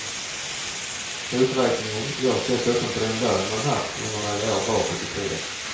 Uträkningen görs dessutom på den lön man haft under några år bakåt i tiden.